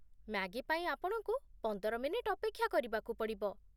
Maggi ପାଇଁ ଆପଣଙ୍କୁ ପନ୍ଦର ମିନିଟ୍ ଅପେକ୍ଷା କରିବାକୁ ପଡ଼ିବ ।